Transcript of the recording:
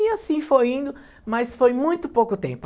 E assim foi indo, mas foi muito pouco tempo.